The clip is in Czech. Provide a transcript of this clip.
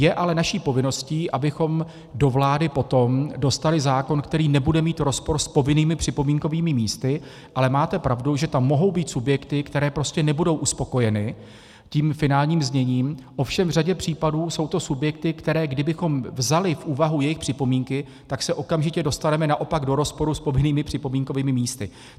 Je ale naší povinností, abychom do vlády potom dostali zákon, který nebude mít rozpor s povinnými připomínkovými místy, ale máte pravdu, že tam mohou být subjekty, které prostě nebudou uspokojeny tím finálním zněním, ovšem v řadě případů jsou to subjekty, které kdybychom vzali v úvahu jejich připomínky, tak se okamžitě dostaneme naopak do rozporu s povinnými připomínkovými místy.